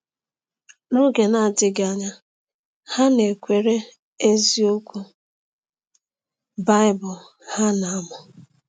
N’oge na-adịghị anya, ha nakweere eziokwu Baịbụl ha na-amụ.